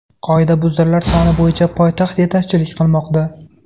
Qoidabuzarlar soni bo‘yicha poytaxt yetakchilik qilmoqda.